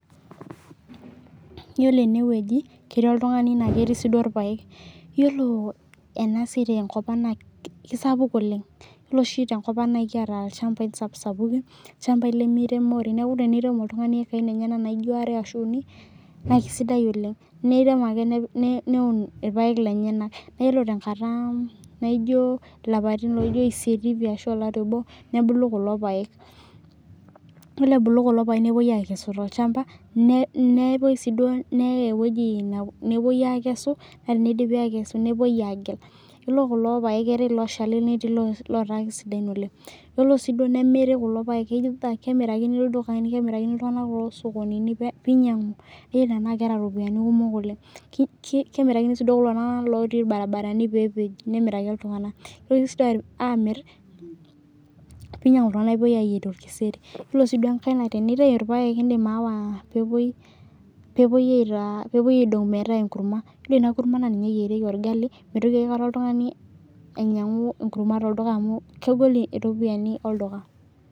Yiolo enewueji ketii oltungani netii siduo rpaek yiolo ena siai tenkop ang naa keisapuk oleng ole oshi tenkop ang naa ekiata lchambai sapusapukin lchambai lmeiremi oleng niaku teneirem oltungani hekai enyena uni naa keisidai oleng neirem ake neun rpaek lenyenak ore te nkata naiji lapaitin isiet ashu olari obo nebulu kulo paek ore ebulu kulo paek nepuoi akesu tolchamba nepuoi siduo neyai ewueji nepuoi akesu naa teneidipi nepuoi agel ore kulo paek naa ketii loshal netii lotaa kesidain oleng yiolo sii kemiri kulo paek nemirakini ltunganak loo ldukai oloo skonini pee inyangu tenaa keta ropiyiani kumok oleng keirakini sii kulo tunganak otii barabarani pee epej nemiraki ltunganak keinyangu sii ltunganak pee epuoi ayier orkiseri ore sii enkae naa keidongi aitainye enkurma nemeitoki oltungani ainyangu tolduka amu kegol ropiyiani olduka